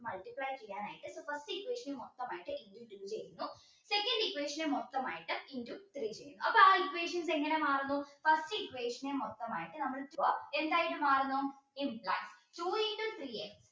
first equation മൊത്തമായിട്ട് ചെയ്യുന്നു second equation മൊത്തമായിട്ട് into three ചെയ്യുന്നു അപ്പോ ആ equations എങ്ങനെ മാറുന്നു first equation മൊത്തമായിട്ട് നമ്മൾ എന്തായിട്ടു മാറുന്നു two into three x